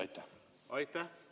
Aitäh!